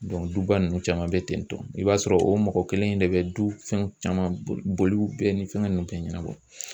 Dɔnku duba nunnu caman be tentɔ i b'a sɔrɔ o mɔgɔ kelen in de be du fɛn caman boli bɛɛ ni fɛngɛ nunnu bɛ ɲɛnabɔ